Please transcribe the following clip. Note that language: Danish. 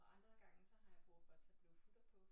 Og andre gange så har jeg brug for at tage blå futter på